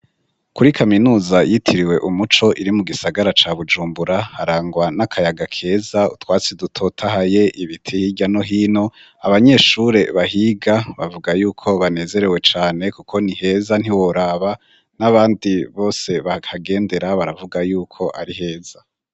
Kuri kaminuza yitiriwe Umuco iri mu gisagara ca Bujumbura harangwa n'akayaga keza utwatsi dutotahaye ibiti hirya no hino abanyeshure bahiga bavuga yuko banezerewe cane kuko ni heza ntiworaba n'abandi bose bakagendera baravuga yuko ari heza.